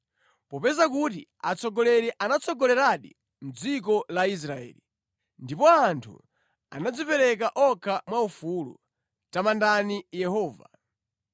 “Popeza kuti atsogoleri anatsogoleradi mʼdziko la Israeli; ndipo anthu anadzipereka okha mwa ufulu, tamandani Yehova: